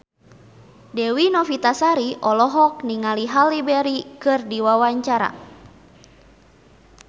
Dewi Novitasari olohok ningali Halle Berry keur diwawancara